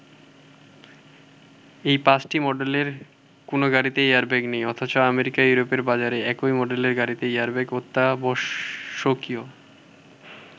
এই ৫টি মডেলের কোনো গাড়িতে এয়ারব্যাগ নেই অথচ আমেরিকা ইউরোপের বাজারে একই মডেলের গাড়িতে এয়ারব্যাগ অত্যাবশ্যকীয়।